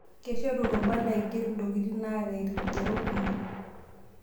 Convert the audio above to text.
Keishoru irubat naigerr intokiting' naata irkigerot kumok.